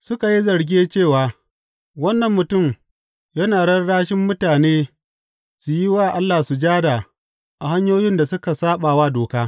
Suka yi zarge cewa, Wannan mutum yana rarrashin mutane su yi wa Allah sujada a hanyoyin da suka saɓa wa doka.